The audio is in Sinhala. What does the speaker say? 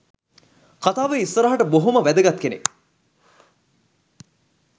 කථාවේ ඉස්සරහට බොහොම වැදගත් කෙනෙක්